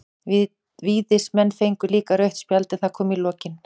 Víðismenn fengu líka rautt spjald, en það kom í lokin.